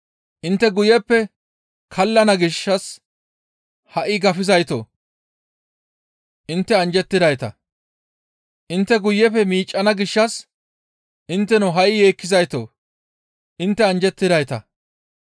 «Intte guyeppe kallana gishshas ha7i gafizaytoo! Intte anjjettidayta; intte guyeppe miiccana gishshas intteno ha7i yeekkizaytoo! Intte anjjettidayta;